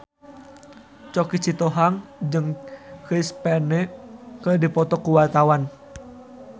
Choky Sitohang jeung Chris Pane keur dipoto ku wartawan